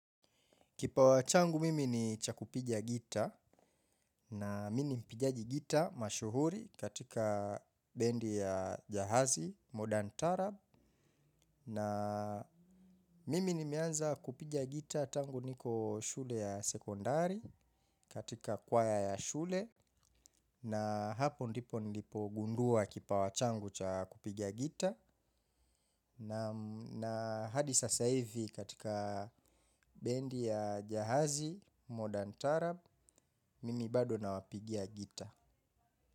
Kipawa changu mimi ni cha kupiga gita, na mimi mpigaji gita mashuhuri katika bendi ya jahazi modern tarab na mimi nimeanza kupiga gita tangu niko shule ya sekondari katika kwaya ya shule na hapo ndipo nilipogundua kipawa changu cha kupiga gita. Na hadi sasa hivi katika bendi ya jahazi, modern tarab, mimi bado nawapigia gita.